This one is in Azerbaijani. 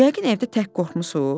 Yəqin evdə tək qorxmusuz?